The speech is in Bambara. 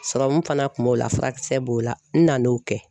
Sɔrɔmu fana kun b'o la furakisɛ b'o la n nan'o kɛ